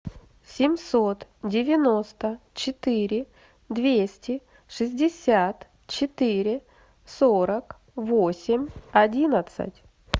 семьсот девяносто четыре двести шестьдесят четыре сорок восемь одиннадцать